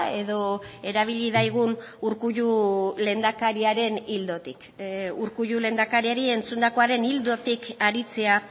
edo erabili daigun urkullu lehendakariaren ildotik urkullu lehendakariari entzundakoaren ildotik aritzea